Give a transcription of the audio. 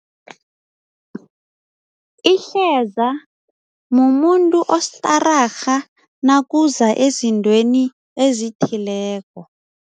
Ihleza mumuntu ostararha nakuza ezintweni ezithileko.